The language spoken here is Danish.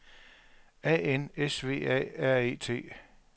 A N S V A R E T